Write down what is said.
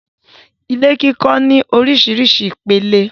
Ilé kíkọ́ ní orísirísi ìpele.